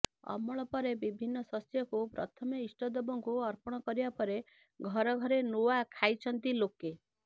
ଅମଳ ପରେ ବିଭିନ୍ନ ଶସ୍ୟକୁ ପ୍ରଥମେ ଇଷ୍ଟଦେବଙ୍କୁ ଅର୍ପଣ କରିବା ପରେ ଘରେ ଘରେ ନୂଆ ଖାଇଛନ୍ତି ଲୋକେ